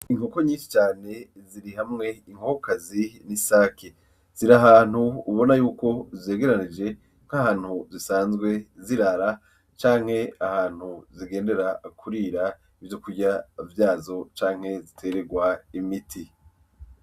Inkoko nyinshi cane ziri hamwe inkokokazi n'isake , zirahantu ubonako zegeranirije nkahantu zisanzwe zirara canke ahantu zigendera kurira ivyokurya vyazo canke zitererwa imiti .